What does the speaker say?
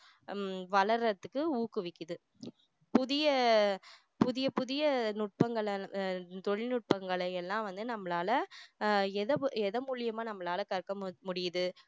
உம் வளர்றதுக்கு வந்து ஊக்குவிக்குது புதிய புதிய புதிய நுட்பங்களை அஹ் தொழில் நுட்பங்களை எல்லாம் வந்து நம்மளால அஹ் எத~ எதன் மூலமா நம்மளால கற்க முடி~ முடியுது